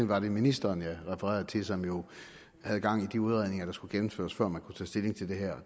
var det ministeren jeg refererede til som jo havde gang i de udredninger der skulle gennemføres før man kunne tage stilling til det her